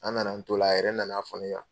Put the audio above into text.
An na na an t'o la a yɛrɛ na na fɔ ne yan